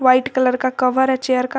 White colour का cover है chair का।